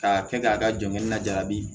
K'a kɛ k'a ka jɔnkɛni na jarabi